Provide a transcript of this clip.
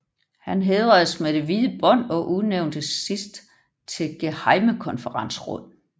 Han hædredes med det hvide bånd og udnævntes sidst til gehejmekonferensråd